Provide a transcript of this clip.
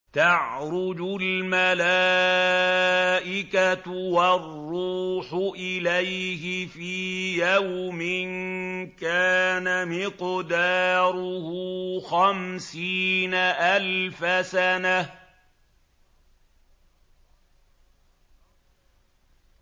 تَعْرُجُ الْمَلَائِكَةُ وَالرُّوحُ إِلَيْهِ فِي يَوْمٍ كَانَ مِقْدَارُهُ خَمْسِينَ أَلْفَ سَنَةٍ